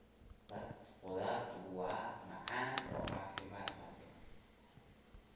Salad khudaartu waa macaan oo caafimaad qabta.